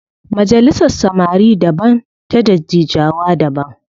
Majalisar samari daban ta dattijawa da daban